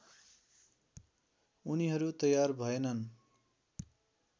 उनीहरू तयार भएनन्